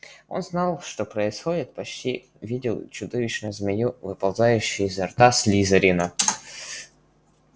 он знал что происходит почти видел чудовищную змею выползающую изо рта слизерина